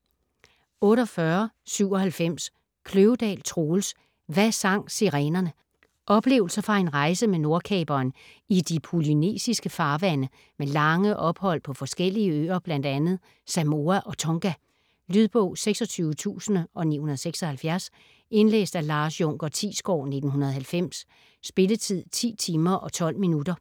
48.97 Kløvedal, Troels: Hvad sang sirenerne Oplevelser fra en rejse med Nordkaperen i de polynesiske farvande med lange ophold på forskellige øer, bl.a. Samoa og Tonga. Lydbog 26976 Indlæst af Lars Junker Thiesgaard, 1990. Spilletid: 10 timer, 12 minutter.